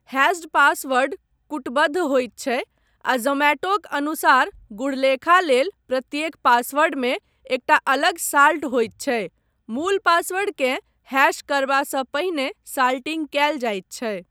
Hatched password कूटबद्ध होइत छै, आ जोमैटोक अनुसार, गूढ़लेखा लेल प्रत्येक पासवर्डमे एकटा अलग 'साल्ट' होइत छै, मूल पासवर्डकेँ हैश करबासँ पहिने साल्टिंग कयल जाइत छै।